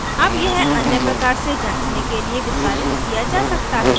यह अन्य प्रकार से जाँचने के लिए विस्तारित किया जा सकता है